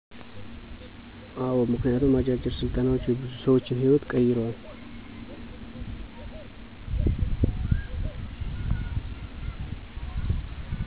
አዎ ምክንያቱም አጫጭር ስልጠናዎች የብዙ ሰዎችን ህይዎት ቀይረዋል።